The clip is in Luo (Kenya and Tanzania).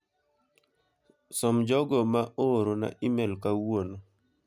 Som jogo ma ooro na imel kawuono.